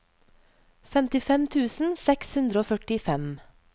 femtifem tusen seks hundre og førtifem